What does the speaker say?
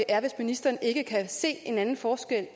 er hvis ministeren ikke kan se en anden forskel